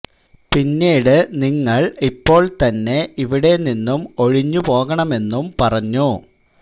പിന്നീട് നിങ്ങള് ഇപ്പോള് തന്നെ ഇവിടെ നിന്നും ഒഴിഞ്ഞു പോകണമെന്നും പറഞ്ഞു